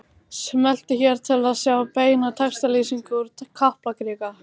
Smelltu hér til að sjá beina textalýsingu úr Kaplakrika